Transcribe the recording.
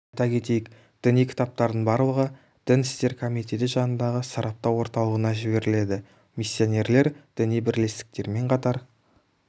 айта кетейік діни кітаптардың барлығы дін істер комитеті жанындағы сараптау орталығына жіберіледі миссионерлер діни бірлестіктерімен қатар